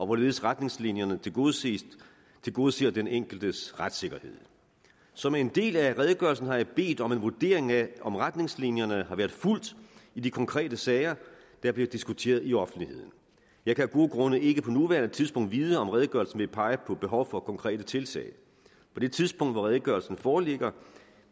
hvorledes retningslinjerne tilgodeser tilgodeser den enkeltes retssikkerhed som en del af redegørelsen har jeg bedt om en vurdering af om retningslinjerne har været fulgt i de konkrete sager der bliver diskuteret i offentligheden jeg kan af gode grunde ikke på nuværende tidspunkt vide om redegørelsen vil pege på et behov for konkrete tiltag på det tidspunkt hvor redegørelsen foreligger